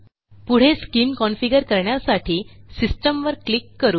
पुढे SCIM configure करण्यासाठी सिस्टीमवर क्लिक करू